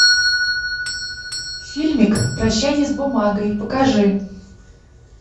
фильмик прощание с бумагой покажи